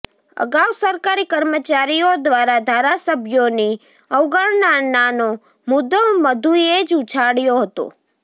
અગાઉ સરકારી કર્મચારીઓ દ્વારા ધારાસભ્યોની અવગણનાનો મુદ્દો મધુએ જ ઉછાળ્યો હતો